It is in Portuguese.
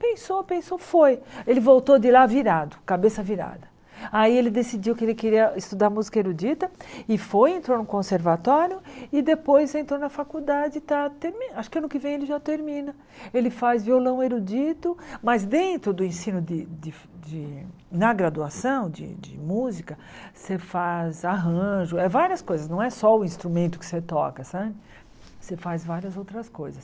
pensou pensou foi ele voltou de lá virado cabeça virada aí ele decidiu que ele queria estudar música erudita e foi entrou no conservatório e depois entrou na faculdade e está acho que ano que vem ele já termina ele faz violão erudito mas dentro do ensino de de de na graduação de música você faz arranjo é várias coisas não é só o instrumento que você toca sabe você faz várias outras coisas